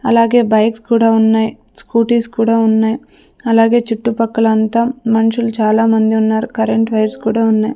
అలాగే బైక్స్ కూడా ఉన్నాయి స్కూటీస్ కూడా ఉన్నాయి అలాగే చుట్టుపక్కల అంతా మనుషులు చాలామంది ఉన్నారు కరెంట్ వైర్స్ కూడా ఉన్నాయి.